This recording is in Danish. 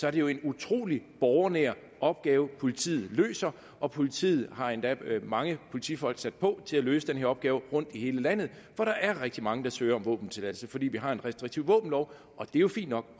er det jo en utrolig borgernær opgave politiet løser og politiet har endda mange politifolk sat på til at løse den her opgave rundt i hele landet for der er rigtig mange der søger om våbentilladelse fordi vi har en restriktiv våbenlov og det er jo fint nok